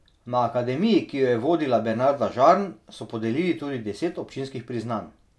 Na akademiji, ki jo je vodila Bernarda Žarn, so podelili tudi deset občinskih priznanj.